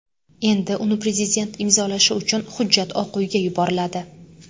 Endi uni prezident imzolashi uchun hujjat Oq uyga yuboriladi.